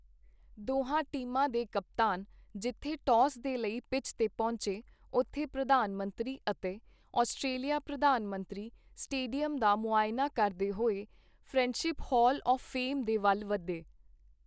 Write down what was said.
ਦੋਹਾਂ ਟੀਮਾਂ ਦੇ ਕਪਤਾਨ ਜਿੱਥੇ ਟੌਸ ਦੇ ਲਈ ਪਿੱਚ ਤੇ ਪਹੁੰਚੇ, ਉੱਥੇ ਪ੍ਰਧਾਨ ਮੰਤਰੀ ਅਤੇ ਆਸਟ੍ਰੇਲਿਆ ਪ੍ਰਧਾਨ ਮੰਤਰੀ ਸਟੇਡੀਅਮ ਦਾ ਮੁਆਇਨਾ ਕਰਦੇ ਹੋਏ ਫ੍ਰੈਂਡਸ਼ਿਪ ਹਾਲ ਆਫ਼ ਫੇਮ ਦੇ ਵੱਲ ਵਧੇ।